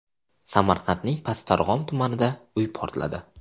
Samarqandning Pastdarg‘om tumanida uy portladi.